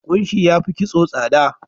Kunshi ya fi kitso tsada.